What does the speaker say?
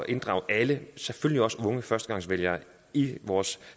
inddrage alle selvfølgelig også de unge førstegangsvælgere i vores